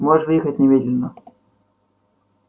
можешь выехать немедленно